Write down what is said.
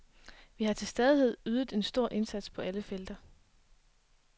Vi har til stadighed ydet en stor indsats på alle felter.